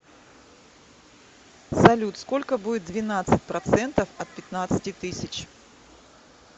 салют сколько будет двенадцать процентов от пятнадцати тысяч